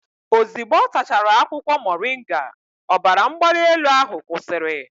Ozugbo ọ tachara akwụkwọ moringa, ọbara mgbali elu ahụ kwụsịrị